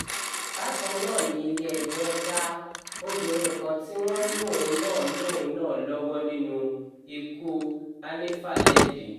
bákan náà ni ilé-ẹjọ́ dá obìnrin kan tí wọ́n lóun náà lóun náà lọ́wọ́ nínú ikú hanifa lẹ́bi